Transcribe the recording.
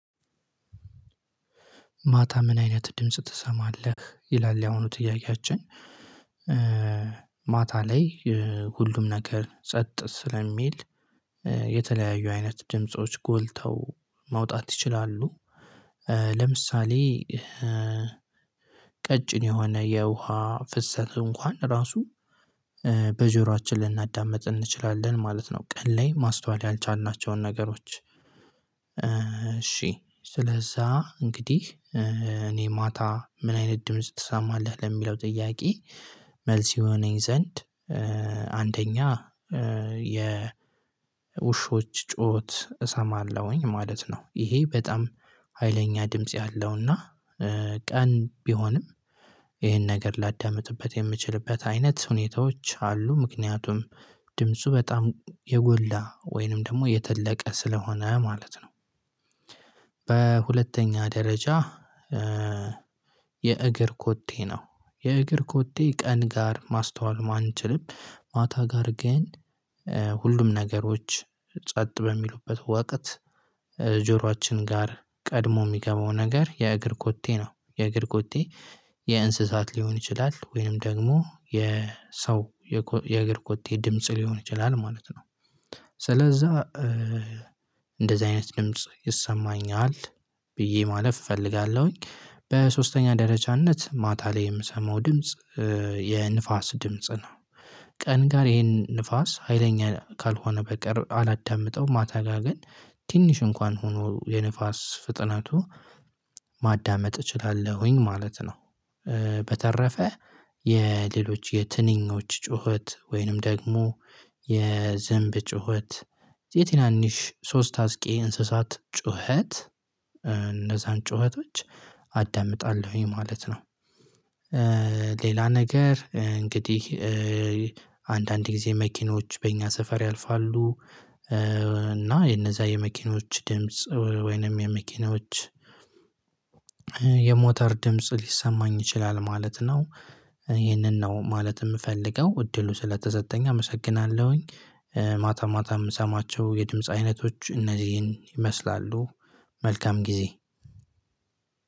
ማታ ምን አይነት ድምጽ ትሰማለህ ይላል ያሁኑ ጥያቄያችን? ማታ ላይ ሁሉም ነገር ጸጥ ስለሚል የተለያዩ አይነት ድምጾች ጎልተው ማውጣት ይችላሉ። ለምሳሌ ቀጭን የሆነ የውሃ ፍሰት እንኳን ራሱ በጆራችን ልናዳምጥ እንችላለን ማለት ነው። ቀን ላይ ማስተዋል ያልቻልናቸውን ነገሮች እሺ ስለዛ እንግዲህ እኔ ማታ ምን አይነት ድምጽ ትሰማለህ ለሚለው ጥያቄ መልስ ይሆነኝ ዘንድ አንደኛ የ ውሾች ጩኸት እሰማለሁኝ ማለት ነው። ይሄ በጣም ሀይለኛ ድምጽ ያለውና ቀን ቢሆንም ይሄን ነገር ላዳምጥበት የምችልበት አይነት ሁኔታዎች አሉ ምክንያቱም ድምፁ በጣም የጎላ ወይንም ደግሞ የተለቀ ስለሆነ ማለት ነው። በሁለተኛ ደረጃ። የእግር ኮቴ ነው የእግር ኮቴ ቀን ጋር ማስተዋል ማንችልም ማታ ጋር ግን ሁሉም ነገሮች ጸጥ በሚሉበት ወቀት ጆሯችን ጋር ቀድሞ የሚገባው ነገር የእግር ኮቴ ነው የእግር ኮቴ የእንስሳት ሊሆን ይችላል ወይንም ደግሞ የሰው የእግር ኮቴ ድምጽ ሊሆን ይችላል ማለት ነው። ስለዛ እንደዚህ አይነት ድምጽ ይሰማኛል ብዬ ማለፍ እፈልጋለሁኝ። በሶስተኛ ደረጃነት ማታ ላይ የምሰማው ድምጽ የንፋስ ድምጽ ነው። ቀን ጋር ይሄን ንፋስ ሀይለኛ ካልሆነ በቀር አላዳምጠውም ማታ ጋር ግን ትንሽ እንኳን ሆኖ የንፋስ ፍጥነቱ ማዳመጥ እችላለሁኝ ማለት ነው። በተረፈ የሌሎች የትንኞች ጩኸት ወይንም ደግሞ የዝንብ ጩኸት የትናንሽ ሶስት አስቂ እንስሳት ጩኸት እነዛን ጩኸቶች አዳምጣለሁኝ ማለት ነው። ሌላ ነገር እንግዲህ አንዳንድ ጊዜ መኪኖች በእኛ ሰፈር ያልፋሉ እና የነዛ የመኪኖች ድምጽ ወይንም የመኪኖች የሞተር ድምጽ ሊሰማኝ ይችላል ማለት ነው። ይሄንን ነው ማለት የምፈልገው እድሉ ስለተሰጠኝ አመሰግናለሁኝ። ማታ ማታ የምሰማቸው የድምጽ አይነቶች እነዚህን ይመስላሉ። መልካም ጊዜ።